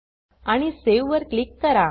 आणि सावे वर क्लिक करा